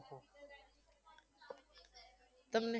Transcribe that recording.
તમને